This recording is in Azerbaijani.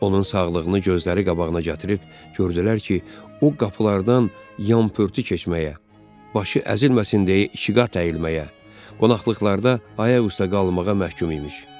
Onun sağlığını gözləri qabağına gətirib gördülər ki, o qapılardan yampırtı keçməyə, başı əzilməsin deyə ikiqat əyilməyə, qonaqlıqlarda ayaqüstə qalmağa məhkum imiş.